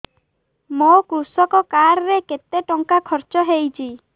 ମୋ କୃଷକ କାର୍ଡ ରେ କେତେ ଟଙ୍କା ଖର୍ଚ୍ଚ ହେଇଚି